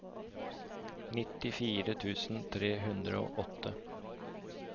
nittifire tusen tre hundre og åtte